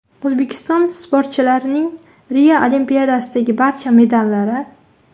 O‘zbekiston sportchilarning Rio Olimpiadasidagi barcha medallari.